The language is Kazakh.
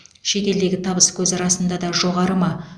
шет елдегі табыскөзі расында да жоғары ма